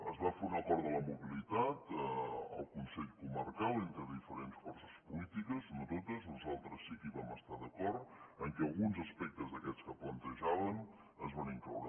es va fer un acord de la mobilitat al consell comarcal entre diferents forces polítiques no totes nosaltres sí que hi vam estar d’acord en què alguns aspectes d’aquests que plantejaven es van incloure